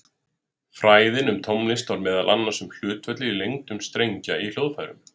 Fræðin um tónlist var meðal annars um hlutföll í lengdum strengja í hljóðfærum.